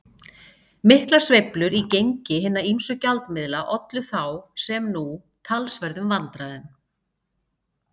Miklar sveiflur í gengi hinna ýmsu gjaldmiðla ollu þá, sem nú, talsverðum vandræðum.